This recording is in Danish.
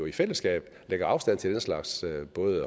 i fællesskab lægger afstand både til den slags